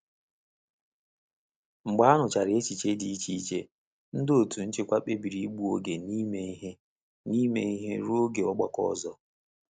Mgbe a nụchara echiche dị iche iche, ndị otu nchịkwa kpebiri ịgbu oge n'ime ihe n'ime ihe ruo oge ọgbakọ ọzọ.